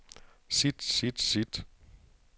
sit sit sit